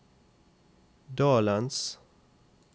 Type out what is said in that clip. dalens